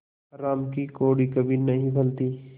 हराम की कौड़ी कभी नहीं फलती